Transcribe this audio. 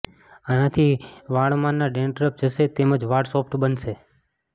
આનાથી વાળમાંના ડેન્ડ્રફ જશે તેમ જ વાળ સોફ્ટ બનશે